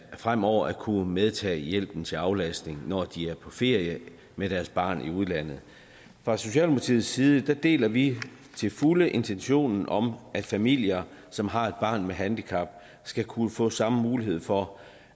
fremover at kunne medtage hjælpen til aflastning når de er på ferie med deres barn i udlandet fra socialdemokratiets side deler vi til fulde intentionen om at familier som har et barn med handicap skal kunne få samme mulighed for